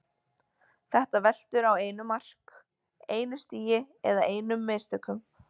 Þetta veltur á einu mark, einu stigi eða einum mistökum.